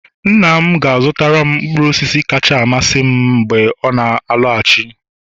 nna m ga-azutaram mkpụrụ osisi kacha amasị m mgbe ọ na-alọghachi